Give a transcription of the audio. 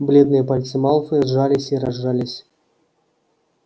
бледные пальцы малфоя сжались и разжались